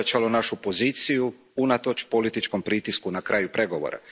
To je ojačalo našu poziciju, unatoč političkom pritisku na kraju pregovora.